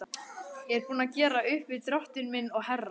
Ég er búinn að gera upp við Drottin minn og herra.